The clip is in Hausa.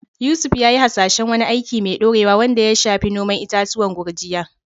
Yusuf ya yi hasashen wani aiki mai dorewa wanda ya shafi noman itatuwan gurjiya.